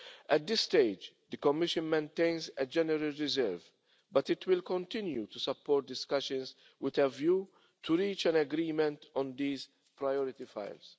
At this stage, the Commission maintains a general reserve, but it will continue to support discussions with a view to reaching an agreement on these priority files.